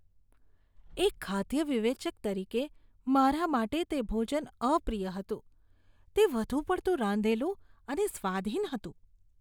એક ખાદ્ય વિવેચક તરીકે મારા માટે તે ભોજન અપ્રિય હતું. તે વધુ પડતું રાંધેલું અને સ્વાદહીન હતું.